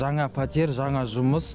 жаңа пәтер жаңа жұмыс